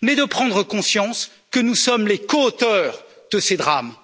mais de prendre conscience que nous sommes les coauteurs de ces drames.